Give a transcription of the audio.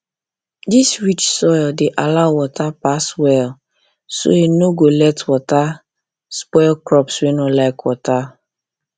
this rich soil dey allow water pass well so e no go let water spoil crops wey no like water